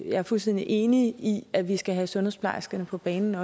jeg er fuldstændig enig i at vi også skal have sundhedsplejerskerne på banen